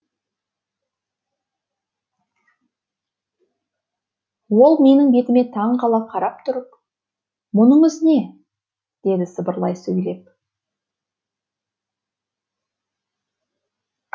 ол менің бетіме таң қала қарап тұрып мұныңыз не деді сыбырлай сөйлеп